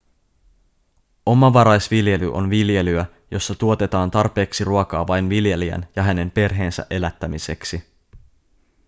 omavaraisviljely on viljelyä jossa tuotetaan tarpeeksi ruokaa vain viljelijän ja hänen perheensä elättämiseksi